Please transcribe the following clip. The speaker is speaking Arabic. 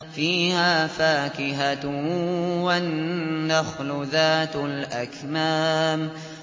فِيهَا فَاكِهَةٌ وَالنَّخْلُ ذَاتُ الْأَكْمَامِ